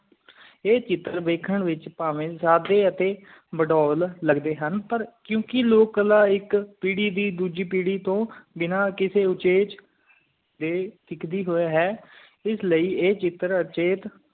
ਆਏ ਸ਼ਿਕਾਰ ਵੇਖਣ ਵਿਚ ਪਾਵਈ ਜਯੱਦ ਤੇ ਵਡੂਲ ਲੱਗਦੈ ਹਨ ਪਾਰ ਕੋ ਕਿ ਲੋਗ ਕਲਾ ਐਕ ਪੀਰੀ ਦੀ ਡੋਜੀ ਪੀਰੀ ਤੂੰ ਬਿਨਾ ਕਿਸੀ ਉਚਾਈ ਚ ਬੇ ਸਿਕਦੀ ਹੋਏ ਹੈ ਇਸ ਲਈ ਆਏ ਚਿਤਰ ਅਚੀਤ